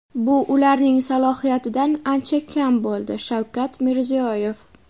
bu ularning salohiyatidan ancha kam bo‘ldi – Shavkat Mirziyoyev.